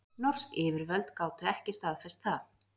Norsk yfirvöld gátu ekki staðfest það